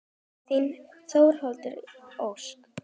Þín Þórdís Ósk.